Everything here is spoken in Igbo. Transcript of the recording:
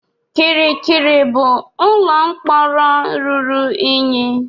Kirikiri bụ ụlọ mkpọrọ ruru unyi.